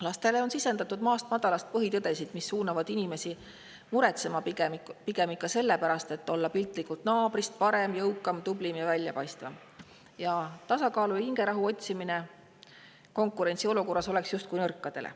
Lastele on sisendatud maast madalast põhitõdesid, mis suunavad inimesi muretsema pigem ikka sellepärast, et olla piltlikult öeldes naabrist parem, jõukam, tublim ja väljapaistvam, tasakaalu ja hingerahu otsimine konkurentsiolukorras oleks justkui nõrkadele.